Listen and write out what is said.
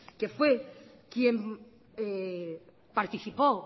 quien fue el que participó